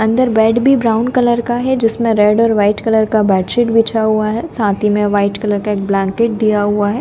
Bed भी brown colour का है जिसमें रेड और वाइट कलर का बेडशीट बिछा हुआ है साथ ही में वाइट कलर का एक ब्लैंकेट दिया हुआ है।